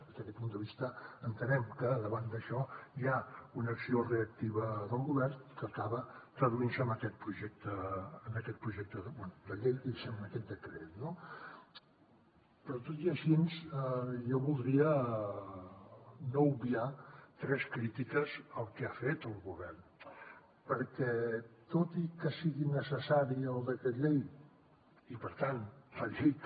des d’aquest punt de vista entenem que davant d’això hi ha una acció reactiva del govern que acaba traduint se en aquest projecte bé de llei diguéssim en aquest decret no però tot i així jo voldria no obviar tres crítiques al que ha fet el govern perquè tot i que sigui necessari el decret llei i per tant faci que